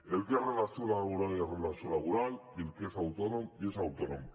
el que és relació laboral és relació laboral i el que és autònom és autònom